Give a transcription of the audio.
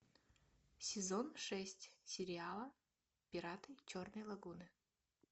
сезон шесть сериала пираты черной лагуны